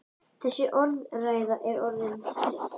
Þessi orðræða er orðin þreytt!